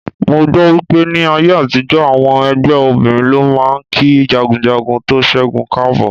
Mo gbọ́ wípé ní ayé àtijó, àwọn ẹgbẹ́ obìnrin ló máa ń kí jagunjagun tó ṣẹ́gun káàbọ̀.